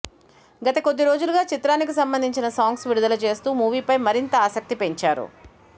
గత కొద్ది రోజులుగా చిత్రానికి సంబంధించిన సాంగ్స్ విడుదల చేస్తూ మూవీపై మరింత ఆసక్తి పెంచారు